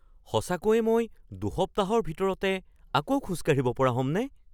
সঁচাকৈয়ে মই দুসপ্তাহৰ ভিতৰতে আকৌ খোজ কাঢ়িব পৰা হ'মনে?